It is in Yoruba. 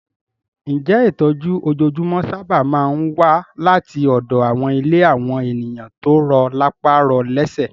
Ǹjẹ́ ìtọ́jú ojoojúmọ́ sáábà máa ń wá láti ọ̀dọ̀ àwọn ilé àwọn ènìyàn tó rọ lápá rọ lésẹ̀?